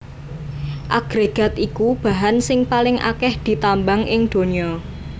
Agrégat iku bahan sing paling akèh ditambang ing donya